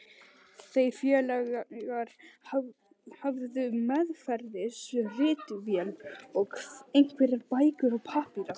Þeir félagar höfðu meðferðis ritvél og einhverjar bækur og pappíra.